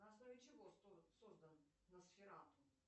на основе чего создан носфератум